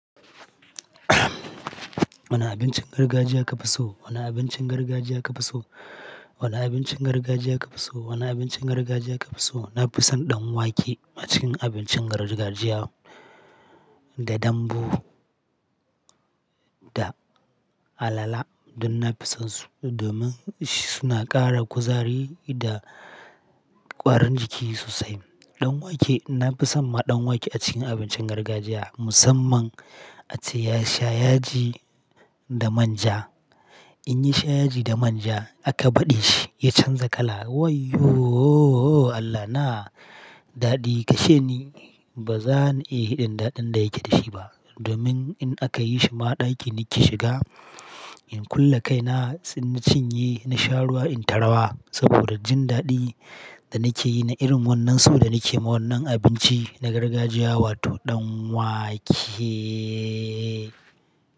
Wane abincin gargajiya ka fi so? Wane abincin gargajiya ka fi so? Wane abincin gargajiya ka fi so? Wane abincin gargajiya ka fi so? Na fi son ɗan wake a cikin abincin gargajiya, da dambu, da alala. Duk na fi son su domin suna ƙara kuzari da ƙwarin jiki sosai. Ɗan wake, nafi son ma ɗan wake a cikin abincin gargajiya, musamman ace ya sha yaji, da manja. In yasha yaji da manja, aka baɗe shi ya canza kala. Waiyo! Allahna daɗi kashe ni. Ba zan iya hiɗin daɗin da yake da shi ba. Domin in aka yi shima ɗaki nake shiga in kulle kaina, in na cinye na sha ruwa in ta rawa, saboda jin daɗi. Da nake yi na irin wannan so da nake yi ma wannan abinci na gargajiya wato ɗan wake.